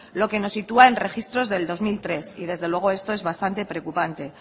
lo que nos sitúa en registros del dos mil tres y desde luego esto es bastante preocupante